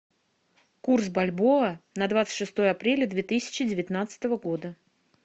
курс бальбоа на двадцать шестое апреля две тысячи девятнадцатого года